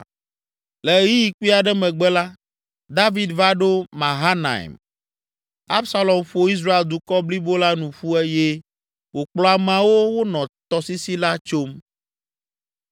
Le ɣeyiɣi kpui aɖe megbe la, David va ɖo Mahanaim. Absalom ƒo Israel dukɔ blibo la nu ƒu eye wòkplɔ ameawo wonɔ tɔsisi la tsom.